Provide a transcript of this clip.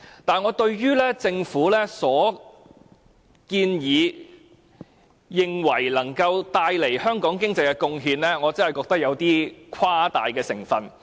但是，對於政府這項建議，聲稱能夠為香港帶來的經濟貢獻，我真的覺得有誇大成分。